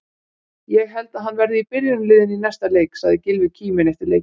Ég held að hann verði í byrjunarliðinu í næsta leik, sagði Gylfi kíminn eftir leikinn.